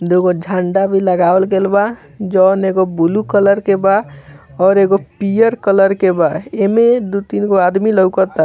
दूगो झंडा भी लगावल गेल बा जोन एगो ब्लू कलर के बा और एगो पियर कलर के बा एमे दो-तीन गो आदमी लौकता।